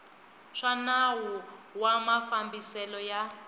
swa nawu wa mafambiselo ya